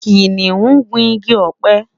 kìnìún gu ìgi ope